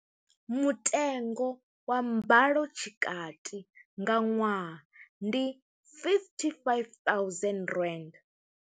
Mutengo wa mbalo tshikati nga ṅwaha ndi R55 000.